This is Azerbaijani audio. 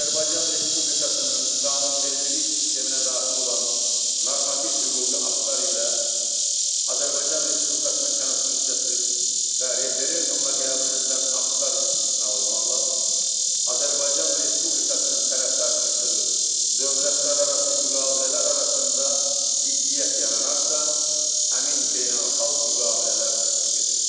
Azərbaycan Respublikasının qanunvericilik sisteminə daxil olan normativ hüquqi aktlar ilə Azərbaycan Respublikasının Konstitusiyası və referendumla qəbul edilən aktlar istisna olmaqla, Azərbaycan Respublikasının tərəfdar çıxdığı dövlətlərarası müqavilələr arasında ziddiyyət yaranarsa, həmin beynəlxalq müqavilələr tətbiq edilir.